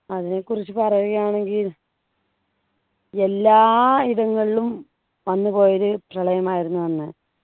അതിനെക്കുറിച്ചു പറയുകയാണെങ്കിൽ എല്ലാ ഇടങ്ങളിലും വന്നുപോയൊരു പ്രളയമായിരുന്നു അന്ന്